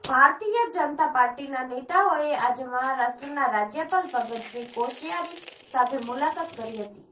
ભારતીય જનતા પાર્ટીના નેતાઓએ આજે મહારાષ્ટ્રના રાજ્યપાલ ભગત સિંહ કોશ્યારી સાથે મુલાકાત કરી હતી